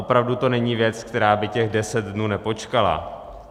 Opravdu to není věc, která by těch 10 dnů nepočkala.